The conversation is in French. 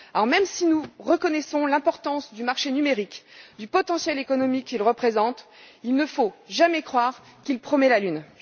Même si nous reconnaissons l'importance du marché numérique et du potentiel économique qu'il représente, il ne faut jamais croire qu'il promet la lune.